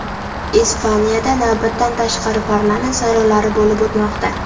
Ispaniyada navbatdan tashqari parlament saylovlari bo‘lib o‘tmoqda.